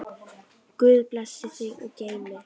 Guð blessi þig og geymi.